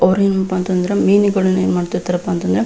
ಅವರೇನಪ್ಪಾ ಅಂತಂದ್ರ ಮೀನುಗಳನ್ನ ಏನ್ ಮಾಡ್ತಾ ಇರ್ತಾರಪ್ಪ ಅಂತಂದ್ರ--